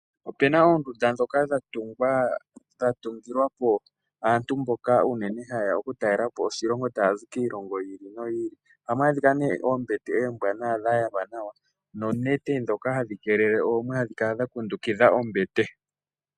Opena oondunda dhoka dhatungwa dhatungilwapo aantu mboka unene hayeya okutalelapo oshilongo taya zi kiilongo yi ili no yi ili, ohamu adhika nee oombete oombwaanawa dha yalwa nawa noonete dhoka hadhi keelele oomwe hadhi kala dha kundukidha ombete.